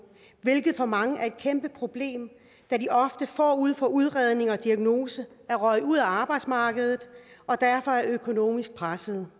hvilket for mange er et kæmpe problem da de ofte forud for udredning og diagnose er røget ud af arbejdsmarkedet og derfor er økonomisk pressede